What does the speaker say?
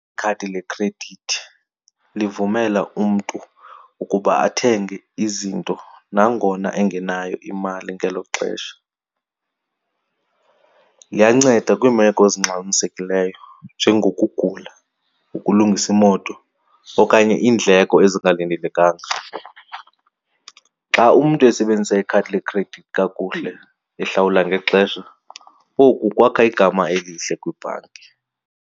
Ikhadi lekhredithi livumela umntu ukuba athenge izinto nangona engenayo imali ngelo xesha. Liyanceda kwiimeko ezingxamisekileyo njengokugula, ukulungisa imoto okanye iindleko ezingalindelekanga. Xa umntu esebenzisa ikhadi lekhredithi kakuhle ehlawula ngexesha, oku kwakha igama elihle kwibhanki.